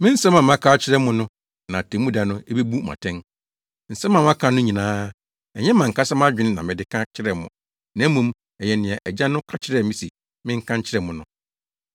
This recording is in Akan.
Nsɛm a maka no nyinaa, ɛnyɛ mʼankasa mʼadwene na mede ka kyerɛɛ mo, na mmom ɛyɛ nea Agya no ka kyerɛɛ me se menka nkyerɛ mo no.